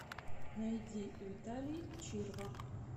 найди виталий чирва